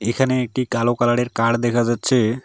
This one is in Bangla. এখানে একটি কালো কালারের কার দেখা যাচ্ছে।